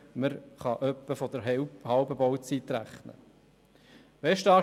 Man könnte ungefähr mit der halben Bauzeit rechnen. «